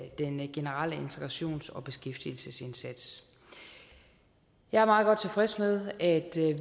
i den generelle integrations og beskæftigelsesindsats jeg meget godt tilfreds med at